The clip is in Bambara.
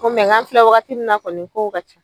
Ko k'an filɛ wagati min na kɔni kow ka ca.